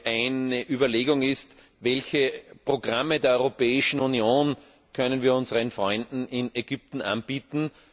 Eine Überlegung ist Welche Programme der Europäischen Union können wir unseren Freunden in Ägypten anbieten?